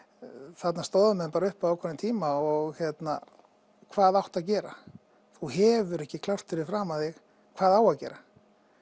þarna stóðu menn bara uppi á ákveðnum tíma og hérna hvað átti að gera þú hefur ekki klárt fyrir framan þig hvað á að gera